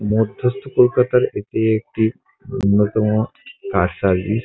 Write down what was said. মধ্যস্থ কলকাতা এটি একটি অন্যতম কার সার্ভিস ।